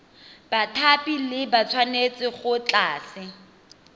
bathapi ba tshwanetse go tlatsa